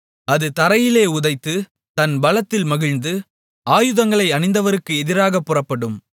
அது தரையிலே உதைத்து தன் பலத்தில் மகிழ்ந்து ஆயுதங்களை அணிந்தவருக்கு எதிராகப் புறப்படும்